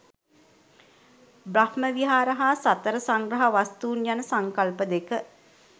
බ්‍රහ්ම විහාර හා සතර සංග්‍රහ වස්තූන් යන සංකල්ප දෙක